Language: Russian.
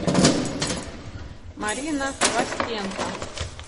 марина хвостенко